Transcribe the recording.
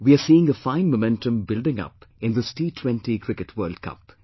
We are seeing a fine momentum building up in this T20 Cricket World Cup